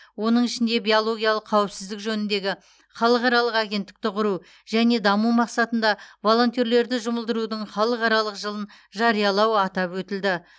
оның ішінде биологиялық қауіпсіздік жөніндегі халықаралық агенттікті құру және даму мақсатында волонтерлерді жұмылдырудың халықаралық жылын жариялау атап өтілді